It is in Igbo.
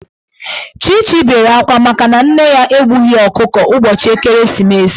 Chichi bere akwa makana nne ya egbughi ọkụkọ ụbọchị ekeresimeesi.